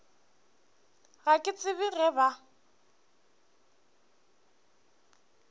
ga ke tsebe ge ba